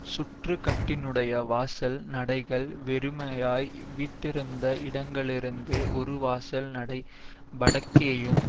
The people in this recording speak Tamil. சுற்றுக்கட்டினுடைய வாசல் நடைகள் வெறுமையாய் விட்டிருந்த இடங்களிலிருந்து ஒரு வாசல் நடை வடக்கேயும்